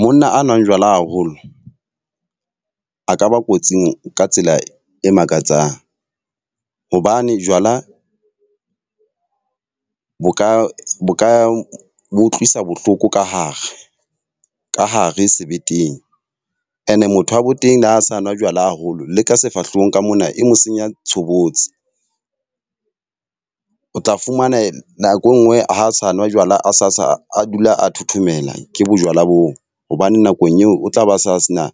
Monna a nwang jwala haholo a ka ba kotsing ka tsela e makatsang. Hobane jwala bo ka bo ka bo utlwisa bohloko ka hare, ka hare sebetseng. E ne motho wa bo teng ha sa nwa jwala haholo le ka sefahlehong ka mona e mo senya tshobotsi. O tla fumana nako e nngwe ha sa nwa jwala a sa a dula a thothomela ke bo jwala boo. Hobane nakong eo o tla ba sa se na